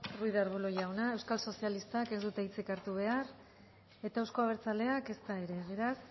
ruiz de arbulo jauna euskal sozialistak ez dute hitzik hartu behar eta euzko abertzaleak ezta ere beraz